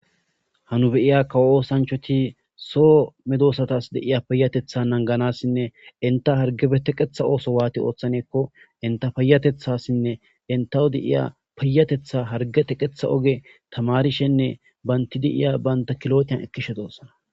Ha nu be'iya kawo osanichati so medosatusi de'iya payateta nagganasinne eta harggepe naganasi inkibibake oso wati othane inte payatetasine intesi yiya harigge teketa oso tamarishene bantasi de'iya kilotiya ekishe de'osona